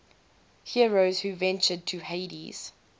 heroes who ventured to hades